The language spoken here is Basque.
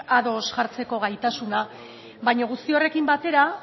ados jartzeko gaitasuna baina guzti horrekin batera